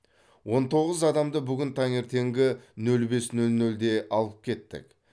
он тоғыз адамды бүгін таңертеңгі нөл бес нөл нөлде алып кеттік